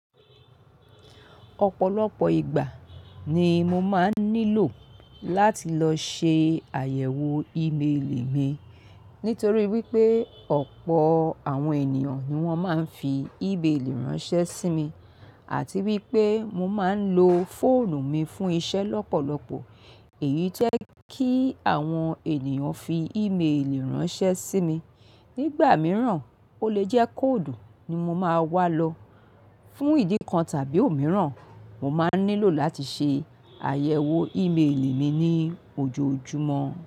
Ọ̀pọ̀lọpọ̀ ìgbà ni mo máa ń nílò láti lọ ṣe àyẹ̀wò ìméèlì mi. Nítorí wípé ọ̀pọ̀ àwọn ènìyàn ni wón máa ń fi ìméèlì ránṣẹ́ sí mi àti wípé mo máa ń lo fóònù mi fún iṣẹ́ lọ́pọ̀lọpọ̀, èyí to jẹ́ kí àwọn ènìyàn fi ìméèlì ránṣẹ́ sí mi. Nígbà mìíràn, ó lè jẹ́ code ni mo máa wá lọ. Fún ìdí kan tàbí òmíràn, mo máa ń nílò láti ṣe àyẹ̀wò ìméèlì mi ní ojoojúmọ́.